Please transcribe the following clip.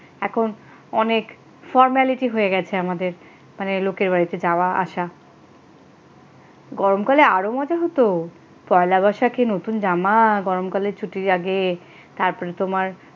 এখন অনেক formality হয়ে গেছে আমাদের মানে লোকের বাড়িতে যাওয়া আসা গরমকালে আরও মজা হত পয়লা বৈশাখের নতুন জামা গরমকালে ছুটির আগে তারপরে তোমার।